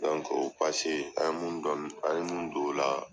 o pase, an mun dɔn an mun don o la,